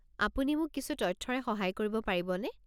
আপুনি মোক কিছু তথ্যৰে সহায় কৰিব পাৰিবনে?